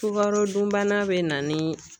Sugarodunbana be na ni